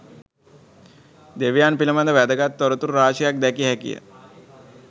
දෙවියන් පිළිබඳ වැදගත් තොරතුරු රාශියක් දැකිය හැකිය.